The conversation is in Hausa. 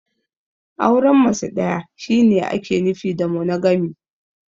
Auren mace ɗaya shi ne ake nufi da "Monogamy".